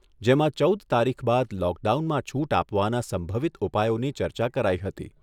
જેમાં ચૌદ તારીખ બાદ લોકડાઉનમાં છૂટ આપવાના સંભવિત ઉપાયોની ચર્ચા કરાઈ હતી.